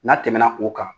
N'a tɛmɛna o kan